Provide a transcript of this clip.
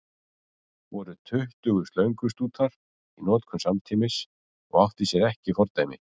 Voru tuttugu slöngustútar í notkun samtímis og átti sér ekki fordæmi.